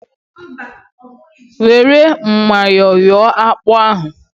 Were myọ yọọ akpụ ahụ!